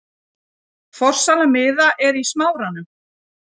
Forsala miða er í Smáranum.